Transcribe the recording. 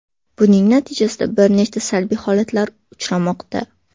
Buning natijasida bir nechta salbiy holatlar uchramoqda.